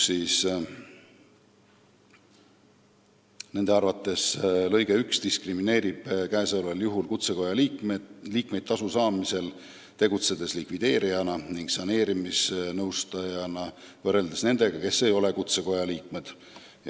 Nende arvates diskrimineerib lõige 1 kutsekoja liikmeid tasu saamisel, kui nad tegutsevad likvideerijana ning saneerimisnõustajana, võrreldes nendega, kes ei ole kutsekoja liikmeid.